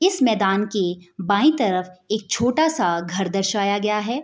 इस मैदान के बाएं तरफ एक छोटा-सा घर दर्शाया गया है।